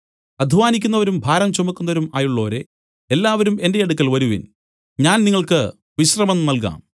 അദ്ധ്വാനിക്കുന്നവരും ഭാരം ചുമക്കുന്നവരും ആയുള്ളോരേ എല്ലാവരും എന്റെ അടുക്കൽ വരുവിൻ ഞാൻ നിങ്ങൾക്ക് വിശ്രമം നൽകാം